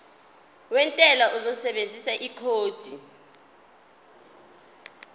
wentela uzosebenzisa ikhodi